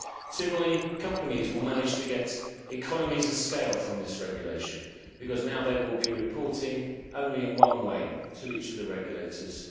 Similarly, companies will manage to get economies of scale from this regulation, because now they will be reporting only in one way to each of the regulators.